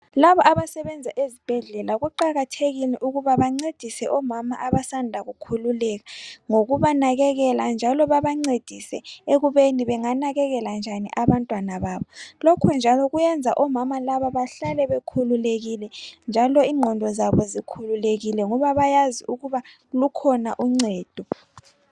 Labo abasebenza ezibhedlela kuqakathekile ukuba bancedise omama abasanda kukhululeka ngokubanakekela njalo babancedise ukubeni benganakekela njani abantwana babo. Lokhu njalo kuyenza omama laba behlale bekhululekile njalo ingqondo zabo zikhululakile ngoba bayazi lukhona uncedo.